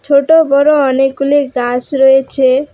ছোট বড় অনেকগুলি গাছ রয়েছে।